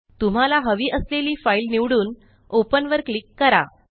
तुम्हाला हवी असलेली फाईल निवडून ओपन वर क्लिक करा